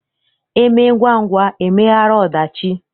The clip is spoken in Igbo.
E mee ngwangwa emeghara ọdachi.